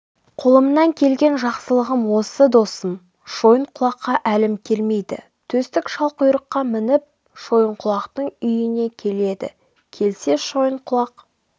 қолымнан келген жақсылығым осы досым шойынқұлаққа әлім келмейді төстік шалқұйрыққа мініп шойынқұлақтың үйіне келеді келсе шойынқұлақ